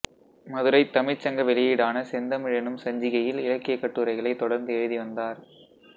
மதுரைத் தமிழ்ச்சங்க வெளியீடான செந்தமிழ் எனும் சஞ்சிகையில் இலக்கியக் கட்டுரைகளைத் தொடர்ந்து எழுதி வந்தார்